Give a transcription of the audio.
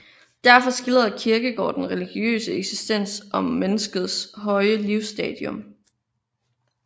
Derfor skildrede Kierkegaard den religiøse eksistens som menneskets højeste livsstadium